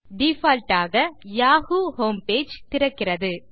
default ஆக Yahoo home page திறக்கிறது